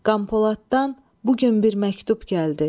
Qampoladdan bu gün bir məktub gəldi.